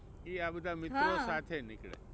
એ આ બધા મિત્રો સાથે નીકળે.